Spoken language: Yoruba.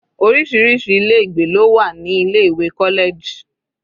Orísirísi ilé ìgbé ló wà ní ilé ìwé college.